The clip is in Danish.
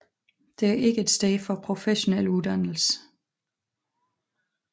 Det er ikke et sted for professionel uddannelse